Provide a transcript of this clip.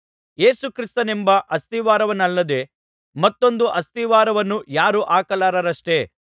ಯೇಸು ಕ್ರಿಸ್ತನೆಂಬ ಅಸ್ತಿವಾರವನ್ನಲ್ಲದೆ ಮತ್ತೊಂದು ಅಸ್ತಿವಾರವನ್ನು ಯಾರೂ ಹಾಕಲಾರರಷ್ಟೆ